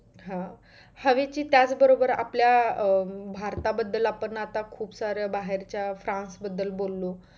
हा हवेचे त्याच बरोबर आपल्या अं भारता बद्धल आपण आता खूप सारं बाहेरच्या फ्रान्स बद्दल बोलो.